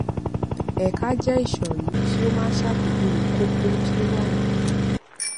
ẹka jẹ ìsòrí tí ó máa ń ṣàpèjúwe kókó tí ó wà nínú rẹ